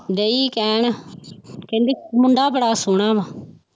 ਡਈ ਕਹਿਣ ਕਹਿੰਦੀ ਮੁੰਡਾ ਬੜਾ ਸੋਹਣਾ ਵਾਂ।